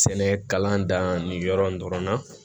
Sɛnɛ kalan dan nin yɔrɔ in dɔrɔn na